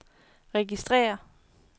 registrér